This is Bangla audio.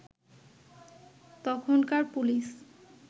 তখনকার পুলিশ